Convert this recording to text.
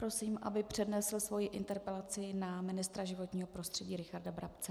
Prosím, aby přednesl svoji interpelaci na ministra životního prostředí Richarda Brabce.